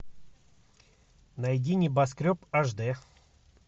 найди небоскреб аш д